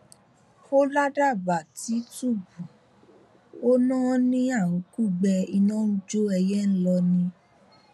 ó ládàbà tìtùbù ò náání à ń kúgbe iná ń jó ẹyẹ ń lọ ni o